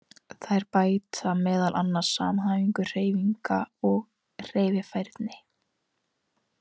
Þær bæta meðal annars samhæfingu hreyfinga og hreyfifærni.